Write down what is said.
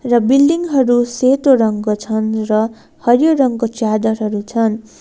र बिल्डिङ हरू सेतो रङ्गको छन् र हरियो रङको च्यादरहरू छन्।